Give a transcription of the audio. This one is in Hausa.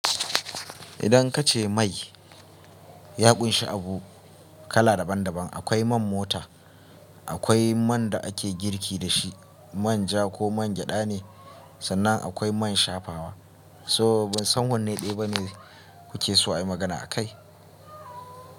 Idan kace mai ya ƙunshi abu kala daban daban, akwai man mota, akwai man da ake girki da shi, man ja ko man gyada ne, sannan akwai man shafawa. So ban san wanne ɗaya ba ne kuke so a yi magana akai.